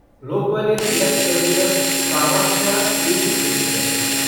Lokmanya Tilak terminus Kamakhya AC express